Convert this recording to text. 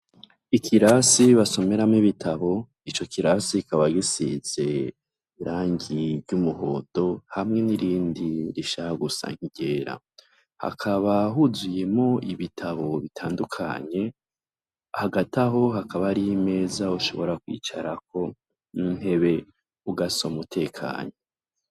Ikirasi basomeramwo ibitabo, ico kirasi kikaba gisize irangi ry'umuhondo, hamwe n'irindi rishaka gusa nk'iryera, hakaba huzuyemwo ibitabo bitandukanye, hagati aho hakaba hari imeza ushobora kwicarako n'intebe ugasoma utekanye.